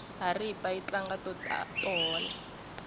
haripa yi tlanga to hola